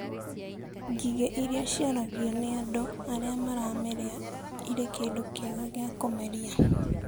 Ngigĩ iria ciaragio nĩ andũ arĩa maramĩrĩa irĩ kĩndũ kĩega gĩa kũmeria.